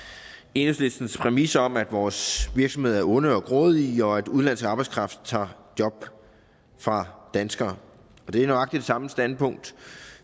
enhedslistens præmis om at vores virksomheder er onde og grådige og at udenlandsk arbejdskraft tager job fra danskere og det er nøjagtig det samme standpunkt